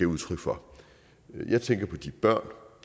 udtryk for jeg tænker på de børn